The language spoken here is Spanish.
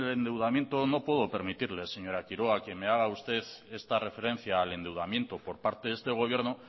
el endeudamiento no puedo permitirle señora quiroga que me haga usted esta referencia al endeudamiento por parte de este gobierno